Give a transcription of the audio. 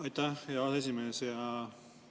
Aitäh, hea esimees!